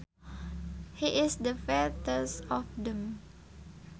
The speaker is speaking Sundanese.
He is the fattest of them